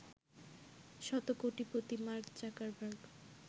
শতকোটিপতি Mark Zuckerberg